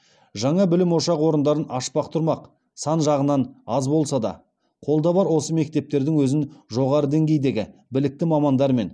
жаңа білім ошақ орындарын ашпақ тұрмақ сан жағынан аз болса да қолда бар осы мектептердің өзін жоғары деңгейдегі білікті мамандармен